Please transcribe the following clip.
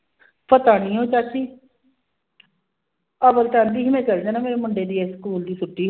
ਪਤਾ ਨੀ ਉਹ ਚਾਚੀ ਕਹਿੰਦੀ ਸੀ ਮੈਂ ਚਲੇ ਜਾਣਾ ਮੇਰੇ ਮੁੰਡੇ ਦੇ ਸਕੂਲ ਦੀ ਛੁੱਟੀ